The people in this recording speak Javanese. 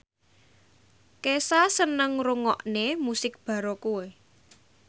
Kesha seneng ngrungokne musik baroque